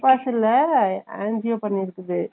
bypass இல்ல angio பண்ணிருக்குது